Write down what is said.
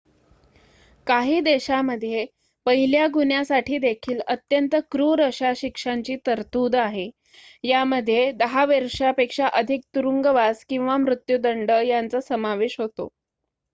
काही देशामध्ये पहिल्या गुन्ह्यासाठी देखील अत्यंत क्रूर अशा शिक्षांची तरतूद आहे यामध्ये 10 वर्षापेक्षा अधिक तुरुंगवास किंवा मृत्युदंड यांचा समावेश होतो